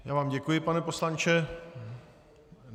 Já vám děkuji, pane poslanče.